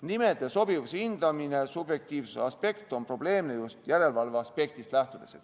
Nime sobivuse hindamine subjektiivse aspekt on probleemne just järelevalve aspektist.